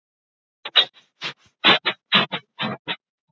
Þórhildur Þorkelsdóttir: Hvað er svo framhaldið?